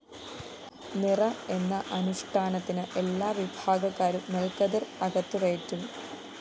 നിറ എന്ന അനുഷ്ഠാനത്തിന് എല്ലാവിഭാഗക്കാരും നെല്‍ക്കതിര്‍ അകത്തുകയറ്റും